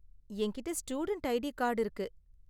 என்கிட்ட student ID card இருக்கு.